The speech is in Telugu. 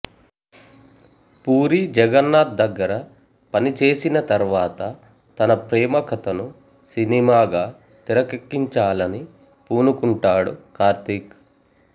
పూరీ జగన్నాధ్ దగ్గర పనిచేసిన తర్వాత తన ప్రేమ కథను సినిమాగా తెరకెక్కించాలని పూనుకుంటాడు కార్తీక్